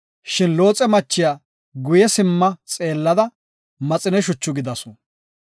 Shin Looxe machiya guye simma xeellada maxine shuchu gidasu.